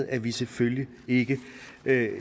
at vi selvfølgelig ikke